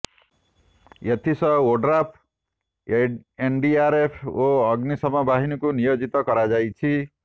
ଏଥିସହ ଓଡ଼୍ରାଫ୍ ଏନଡିଆରଏଫ ଓ ଅଗ୍ନଶମ ବାହିନୀକୁ ନିୟୋଜିତ କରାଯାଇଛି